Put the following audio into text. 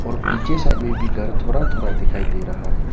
पीछे साइड में भी घर थोड़ा थोड़ा दिखाई दे रहा है।